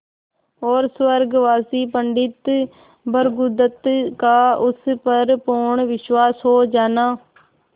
और स्वर्गवासी पंडित भृगुदत्त का उस पर पूर्ण विश्वास हो जाना